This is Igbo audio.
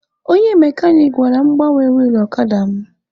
Onye mekanik gwara m gbanwee wilụ ọkada mụ